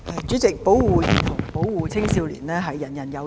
主席，保護兒童和青少年，人人有責。